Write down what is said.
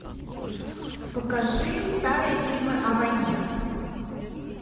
покажи старые фильмы о войне